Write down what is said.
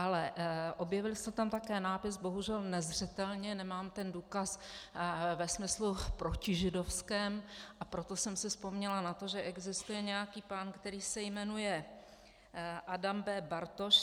Ale objevil se tam také nápis, bohužel nezřetelně, nemám ten důkaz, ve smyslu protižidovském, a proto jsem si vzpomněla na to, že existuje nějaký pán, který se jmenuje Adam B. Bartoš.